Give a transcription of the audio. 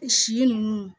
Si nunnu